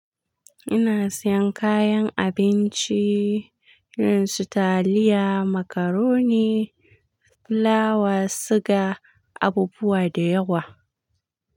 Ina siyan kayan abinci irin su taliya, macaroni, fulawa, suga, abubuwa da yawa.